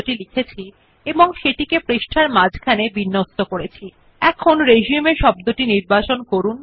you will see that the word resume is left aligned meaning it is towards the left margin of the document page